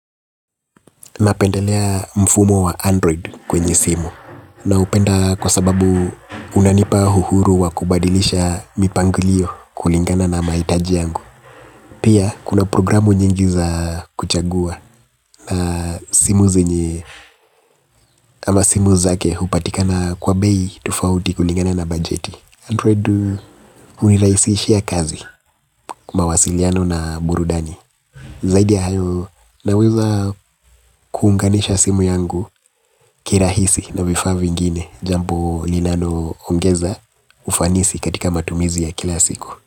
Na penda lea mfumo wa Android kwenye simu. Na upenda kwa sababu unanipa uhuru wa kubadilisha mipangilio kulingana na mahitaji yangu. Pia kuna programu nyingi za kuchagua na simu zenye amba simu zake upatikana kwa bei tofauti kulingana na bajeti. Android unirahisishia kazi mawasiliano na burudani. Zaidi ayo na weza kuunganisha simu yangu kirahisi na vifaa vingine jambo linalo ongeza ufanisi katika matumizi ya kila siku.